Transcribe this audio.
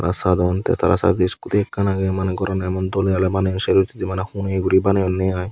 sadon te tara service iscoti ekan aage mane gor an aemon dole dale baniyon sero hitedi mane hune guri baniyone i.